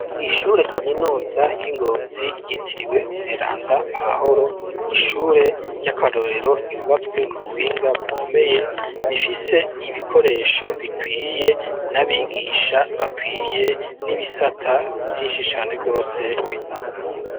Ishure kaminuza ry'ingonzi ryitiriwe umweranda Pahoro, nishure ry'akarorero ryubatswe ku buhinga bukomeye, rifise ibikoresho bikwiye n'Abigisha bakwiye n'ibisata Vyinshi cane gose bitandukanye.